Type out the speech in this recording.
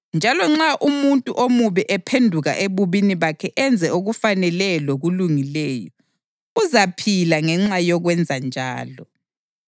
Njalo nxa umuntu omubi ephenduka ebubini bakhe enze okufaneleyo lokulungileyo, uzaphila ngenxa yokwenzanjalo.